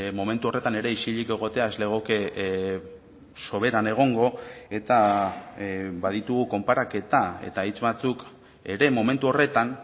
momentu horretan ere isilik egotea ez legoke soberan egongo eta baditugu konparaketa eta hitz batzuk ere momentu horretan